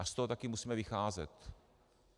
A z toho taky musíme vycházet.